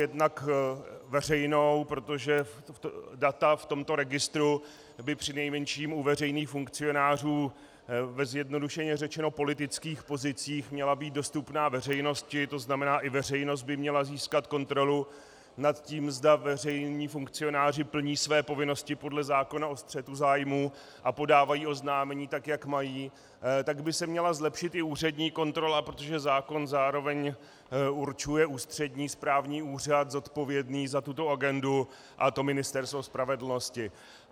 Jednak veřejnou, protože data v tomto registru by přinejmenším u veřejných funkcionářů ve zjednodušeně řečeno politických pozicích měla být dostupná veřejnosti, to znamená, i veřejnost by měla získat kontrolu nad tím, zda veřejní funkcionáři plní své povinnosti podle zákona o střetu zájmů a podávají oznámení tak, jak mají, tak by se měla zlepšit i úřední kontrola, protože zákon zároveň určuje ústřední správní úřad zodpovědný za tuto agendu, a to Ministerstvo spravedlnosti.